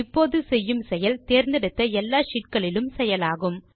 இப்போது செய்யும் செயல் தேர்ந்தெடுத்த எல்லா ஷீட் களிலும் செயலாகும்